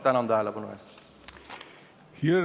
Tänan tähelepanu eest!